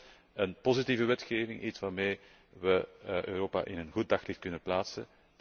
Kortom, een positieve wetgeving, iets waarmee we Europa in een goed daglicht kunnen plaatsen.